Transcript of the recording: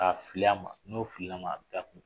K'a fili a ma n'o filila ma a bɛ taa